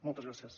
moltes gràcies